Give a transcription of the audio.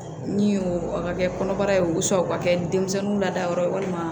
Min y'o a ka kɛ kɔnɔbara ye u sago ka kɛ denmisɛnninw lada yɔrɔ ye walima